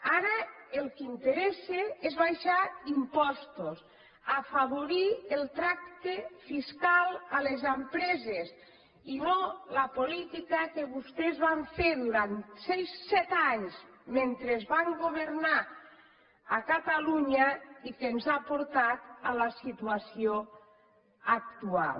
ara el que interessa és abaixar impostos afavorir el tracte fiscal a les empreses i no la política que vostès van fer durant set anys mentre van governar a catalunya i que ens ha portat a la situació actual